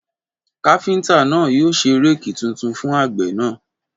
Káfíntà náà yóò ṣe réèkì tuntun fún àgbẹ̀ náà